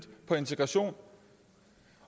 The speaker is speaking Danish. på integration